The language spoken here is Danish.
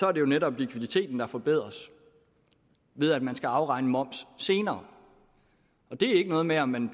er det jo netop likviditeten der forbedres ved at man skal afregne moms senere det er ikke noget med om man